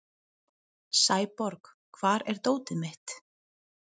Sæborg, hvar er dótið mitt?